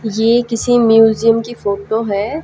ये किसी म्यूजियम की फोटो है।